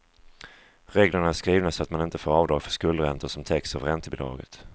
Reglerna är skrivna så att man inte får avdrag för skuldräntor som täcks av räntebidraget.